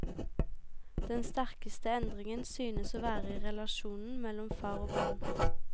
Den sterkeste endringen synes å være i relasjonen mellom far og barn.